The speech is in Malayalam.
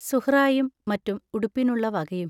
സുഹ്റായും മറ്റും ഉടുപ്പിനുള്ള വകയും.